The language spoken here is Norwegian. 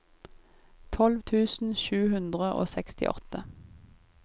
tolv tusen sju hundre og sekstiåtte